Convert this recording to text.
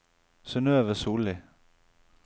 Synøve Sollie